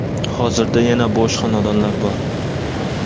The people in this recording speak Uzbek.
Hozirda yana bo‘sh xonadonlar bor.